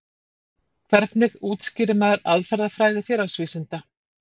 Hvernig útskýrir maður aðferðafræði félagsvísinda?